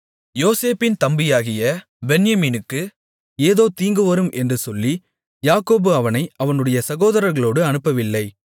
யோசேப்பின் தம்பியாகிய பென்யமீனுக்கு ஏதோ தீங்கு வரும் என்று சொல்லி யாக்கோபு அவனை அவனுடைய சகோதரர்களோடு அனுப்பவில்லை